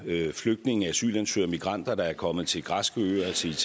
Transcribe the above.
flygtninge asylansøgere og migranter der er kommet til græske øer og til